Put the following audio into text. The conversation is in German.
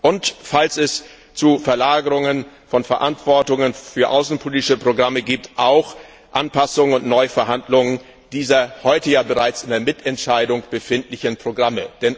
und falls es Verlagerungen von Verantwortung für außenpolitische Programme gibt auch zur Anpassung und Neuverhandlung dieser heute ja bereits in der Mitentscheidung befindlichen Programme?